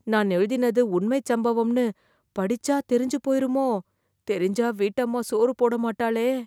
நான் எழுதினது உண்மைச் சம்பவம்னு படிச்சா தெரிஞ்சு போயிருமோ? தெரிஞ்சா வீட்டம்மா சோறு போட மாட்டாளே.